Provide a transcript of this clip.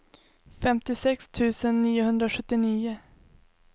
femtiosex tusen niohundrasjuttionio